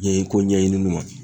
Ɲɛɲi ko ɲɛɲininiw ma.